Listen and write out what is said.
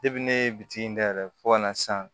ne ye bitiki in dayɛlɛ fɔ ka na san